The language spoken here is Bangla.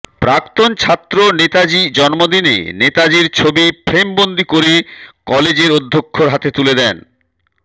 প্রাক্তন ছাত্র নেতাজী জন্মদিনে নেতাজীর ছবি ফ্রেমবন্দি করে কলেজের অধক্ষর হাতে তুলে দেয়